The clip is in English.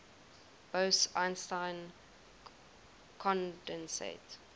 bose einstein condensate